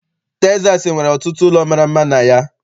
Texas nwere ọtụtụ ụlọ mara mma na ya.